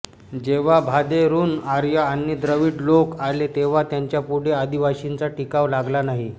जेव्हा भादेरून आर्य आणि द्रविड लोक आले तेव्हा त्यांच्यापुढे आदिवासींचा टिकाव लागला नाही